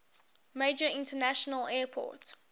major international airport